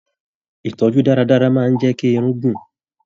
Ìtọjú dáradára máa n jẹ kí Irun gun.